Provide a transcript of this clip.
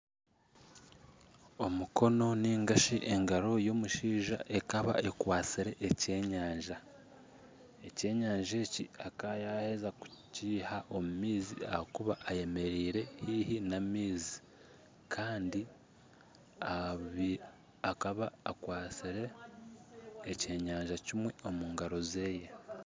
Omukono nigashi engaro y'omushaija ekaba ekwatsire ekyenyanja, ekyenyanja eki akaba yaheeza kukiiha omu maizi ahakuba ayemereire haihi n'amaizi kandi akaba akwatsire ekyenyanja kimwe omu ngaro zeeye.